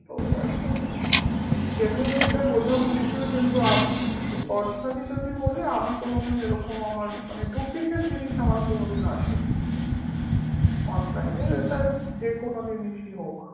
তো এখন genuine এটা বোঝা মুশকিল কিন্তু আমি আহ personally যদি বলি আমি কোনোদিন এরকম আমার মানে duplicate জিনিস আমার কোনোদিন আসেনি online এ এটা যেকোনো জিনিসই হোক